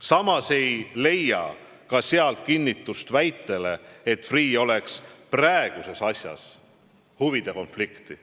Samas ei leia sealt kinnitust väitele, et Freeh'l oleks praeguses asjas huvide konflikt.